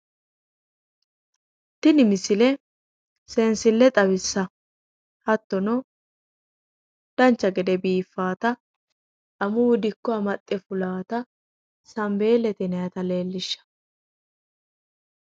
Tini misile seensille xawissawo hattono dancha gede biiffaata amuwu dikko amaxxe fulaata sanbeellete yinayita leellishshawo